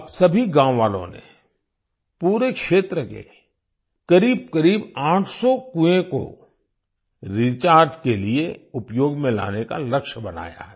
अब सभी गाँव वालों ने पूरे क्षेत्र के करीबकरीब 800 कुएं को रिचार्ज के लिए उपयोग में लाने का लक्ष्य बनाया है